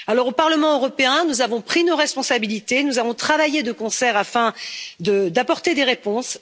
Au Parlement européen, nous avons pris nos responsabilités nous avons travaillé de concert afin d'apporter des réponses.